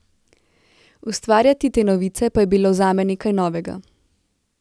Ustvarjati te novice pa je bilo zame nekaj novega.